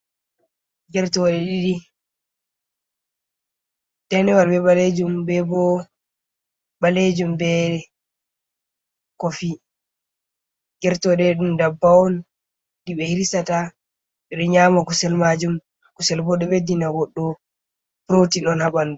Gertoɗe ɗiɗi danewal be ɓalejum be bo ɓalejum ɓe kofi. Gertoɗe ɗum dabbawa on je ɓe hirsata, ɓe nyama kusel majum kusel bo ɗo ɓeddina goɗɗo protin on ha ɓandu.